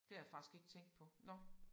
Det har jeg faktisk ikke tænkt på nåh